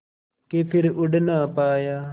के फिर उड़ ना पाया